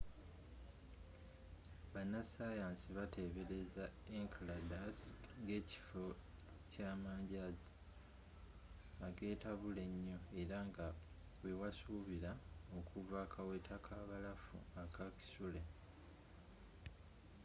bannasayansi batebeereza enceladus ngekifo ky'amanjazi agetabula enyo era nga we wasubira okuva akaweta kabalafu aka kisuule